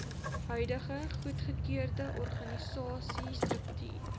huidige goedgekeurde organisasiestruktuur